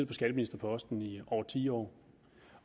på skatteministerposten i over ti år